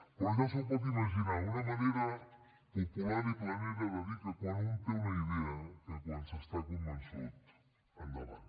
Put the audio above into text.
però ja s’ho pot imaginar una manera popular i planera de dir que quan un té una idea que quan s’està convençut endavant